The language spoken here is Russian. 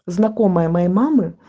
знакомая моей мамы